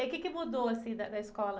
E aí o quê que mudou assim da, da escola?